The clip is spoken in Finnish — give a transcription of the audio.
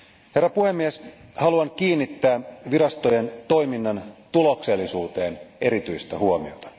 Herra puhemies, haluan kiinnittää virastojen toiminnan tuloksellisuuteen erityistä huomiota.